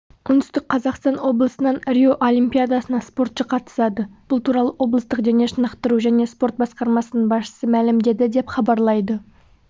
оңтүстік қазақстан облысынан рио олимпиадасына спортшы қатысады бұл туралы облыстық дене шынықтыру және спорт басқармасының басшысы мәлімдеді деп хабарлайды